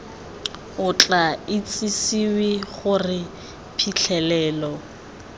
o tla itsisiwe gore phitlhelelo